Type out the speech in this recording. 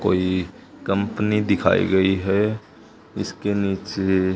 कोई कंपनी दिखाई गई है। इसके नीचे--